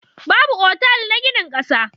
Babu otal na ginin ƙasa.